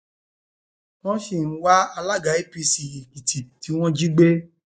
wọn sì ń wá alága apc èkìtì tí wọn jí gbé